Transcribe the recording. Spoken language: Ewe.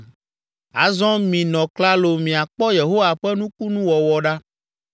“Azɔ minɔ klalo miakpɔ Yehowa ƒe nukunuwɔwɔ ɖa.